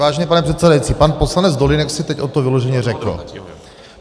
Vážený pane předsedající, pan poslanec Dolínek si teď o to vyloženě řekl.